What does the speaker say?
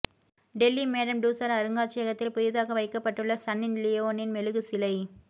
Delhi Madame Tussauds அருங்காட்சியகத்தில் புதிதாக வைக்கப்பட்டுள்ள சன்னி லியோனின் மெழுகுச் சிலை